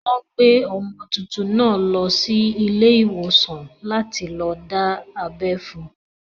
Wọ́n gbé ọmọ tuntun náà lọ sí ilé ìwòsàn láti lọ dábẹ́ fún